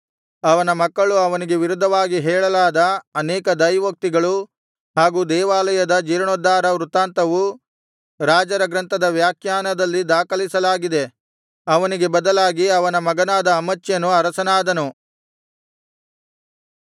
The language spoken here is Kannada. ಅವನ ಮಕ್ಕಳು ಅವನಿಗೆ ವಿರುದ್ಧವಾಗಿ ಹೇಳಲಾದ ಅನೇಕ ದೈವೋಕ್ತಿಗಳೂ ಹಾಗು ದೇವಾಲಯದ ಜೀರ್ಣೋದ್ಧಾರ ವೃತ್ತಾಂತವು ರಾಜರ ಗ್ರಂಥದ ವ್ಯಾಖ್ಯಾನದಲ್ಲಿ ದಾಖಲಿಸಲಾಗಿದೆ ಅವನಿಗೆ ಬದಲಾಗಿ ಅವನ ಮಗನಾದ ಅಮಚ್ಯನು ಅರಸನಾದನು